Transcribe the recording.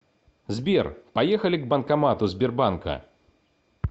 сбер поехали к банкомату сбербанка